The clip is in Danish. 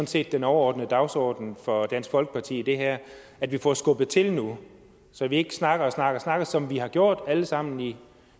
set den overordnede dagsorden for dansk folkeparti i det her at vi får skubbet til nu så vi ikke snakker snakker og snakker som vi har gjort det alle sammen i